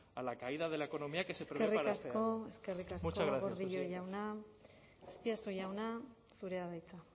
a la caída de la economía que se prevé para este año muchas gracias eskerrik asko gordillo jauna azpiazu jauna zurea da hitza